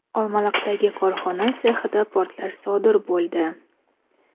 Olmaliqdagi korxona sexida portlash sodir bo‘ldi.